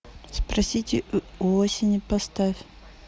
спросите у осени поставь